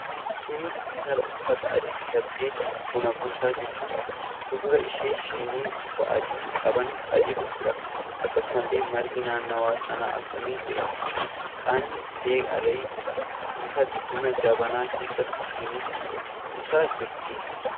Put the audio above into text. Kun intala uffata adii uffattee buna buusaa jirtudha. Fuuldura ishee shinii bifa adii qaban baay'eetu jira. Akkasumallee margi naannawa sana afaamee jira. Hixaanni illee aaree jira. Intalli buna jabanaa keessaa shiniiitti buusaa jirti.